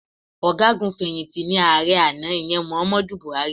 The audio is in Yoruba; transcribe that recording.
Ọ̀gágun fẹ̀yìntì ni ààrẹ àná, ìyẹn Muhammadu Buhari.